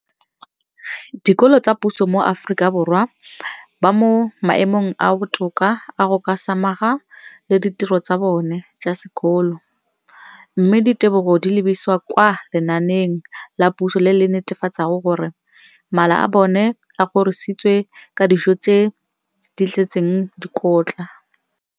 Dikolo tsa puso mo Aforika Borwa ba mo maemong a a botoka a go ka samagana le ditiro tsa bona tsa sekolo, mme ditebogo di lebisiwa kwa lenaaneng la puso le le netefatsang gore mala a bona a kgorisitswe ka dijo tse di tletseng dikotla.